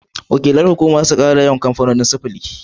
Wakilan hukumar za su ƙara yawan kamfanonin sufuri.